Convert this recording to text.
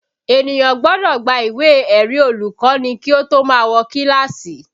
Ènìyàn gbọ́dọ̀ gba ìwé ẹ̀rí olùkọ́ni kí ó tó má wọ kíláàsì